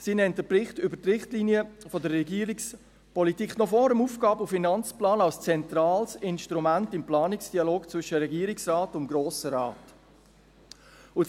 Sie nennt den Bericht über die Richtlinien der Regierungspolitik noch vor dem Aufgaben- und Finanzplan als zentrales Instrument im Planungsdialog zwischen Regierungsrat und Grossem Rat.